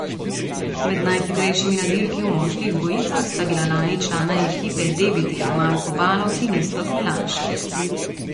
Med najhitrejšimi na dirki v moških dvojicah sta bila lani člana ekipe Debitel Marko Baloh in Iztok Melanšek.